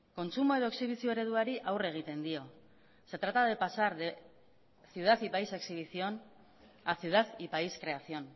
kontsumo edo exhibizio ereduari aurre egiten dio se trata de pasar de ciudad y país exhibición a ciudad y país creación